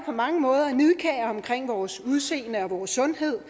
på mange måder nidkære omkring vores udseende og vores sundhed